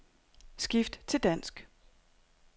Skift til dansk.